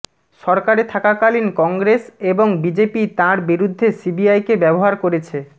সরকারে থাকাকালীন কংগ্রেস এবং বিজেপি তাঁর বিরুদ্ধে সিবিআইকে ব্যবহার করেছে